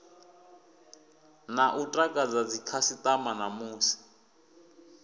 na u takadza dzikhasitama namusi